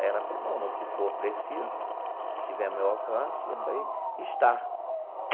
Aí ela falou, bom, no que for preciso, se tiver no meu alcance, eu falei, está.